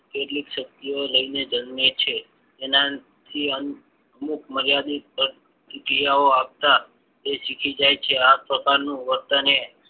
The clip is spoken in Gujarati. કેટલી શક્તિઓ લઈને જન્મે છે. એનાથી અમુક મર્યાદિત ક્રિયાઓ આપતા શીખી જાય છે. આ પ્રકારનું વર્તન એ